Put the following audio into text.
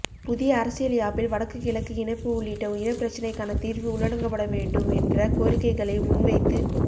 புதிய அரசியல் யாப்பில் வடக்கு கிழக்கு இணைப்பு உள்ளிட்ட இனப்பிரச்சினைக்கான தீர்வு உள்ளடங்கப்பட வேண்டும் என்ற கோரிக்கைகளை முன்வைத்து